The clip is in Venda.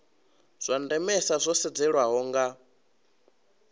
zwa ndemesa zwo sedzeswaho nga